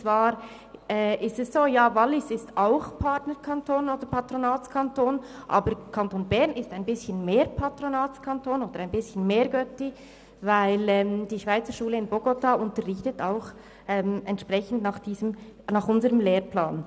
Ja, das Wallis ist auch Patronatskanton, aber der Kanton Bern ist ein bisschen mehr Patronatskanton oder ein bisschen mehr Götti, denn die Schweizerschule in Bogotá unterrichtet nach unserem Lehrplan.